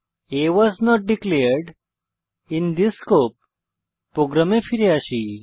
a was not declared in the scope প্রোগ্রামে ফিরে আসি